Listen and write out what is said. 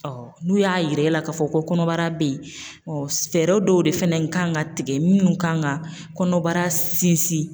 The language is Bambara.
Ɔ n'u y'a yira e la k'a fɔ ko kɔnɔbara beyi fɛɛrɛ dɔw de fɛnɛ kan ka tigɛ minnu kan ka kɔnɔbara sinsin.